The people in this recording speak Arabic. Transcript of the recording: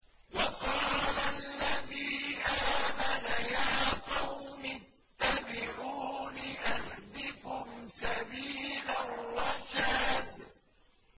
وَقَالَ الَّذِي آمَنَ يَا قَوْمِ اتَّبِعُونِ أَهْدِكُمْ سَبِيلَ الرَّشَادِ